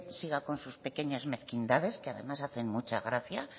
siga con sus pequeñas mezquindades que además hacen mucha gracia